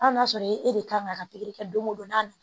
Hali n'a sɔrɔ e de kan ka ka pikiri kɛ don o don n'a na